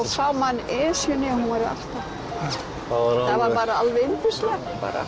sá maður Esjuna það var alveg yndislegt